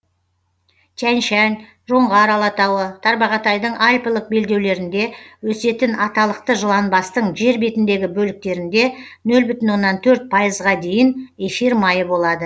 тянь шань жоңғар алатауы тарбағатайдың альпілік белдеулерінде өсетін аталықты жыланбастың жер бетіндегі бөліктерінде нөл бүтін оннан төрт пайызға дейін эфир майы болады